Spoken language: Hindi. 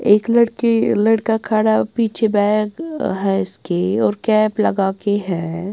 एक लड़के लड़का खड़ा पीछे बैग है इसके और कैप लगा के है।